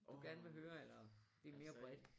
Du gerne vil høre eller det mere bredt?